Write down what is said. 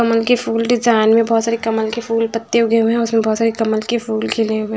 कमल के फूल डिज़ाइन में बहुत सारे कमल के फूल पत्ते उगे हुए हैं उसमें बहुत सारे कमल के फूल खिले हुए--